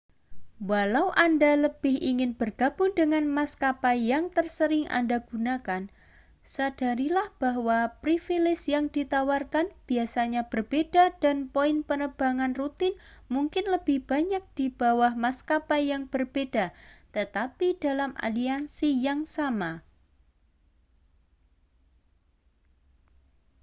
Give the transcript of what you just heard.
walau anda lebih ingin bergabung dengan maskapai yang tersering anda gunakan sadarilah bahwa privilese yang ditawarkan biasanya berbeda dan poin penerbang rutin mungkin lebih banyak di bawah maskapai yang berbeda tetapi dalam aliansi yang sama